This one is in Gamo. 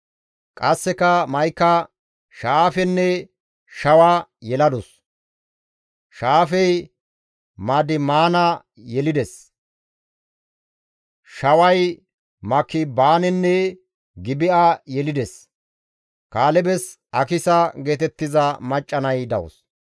Qasseka Ma7ika Sha7aafenne Shawa yeladus; Sha7aafey Madimaana yelides; Shaway Makibaanenne Gibi7a yelides. Kaalebes Akisa geetettiza macca nay dawus.